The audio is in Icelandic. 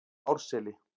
Árseli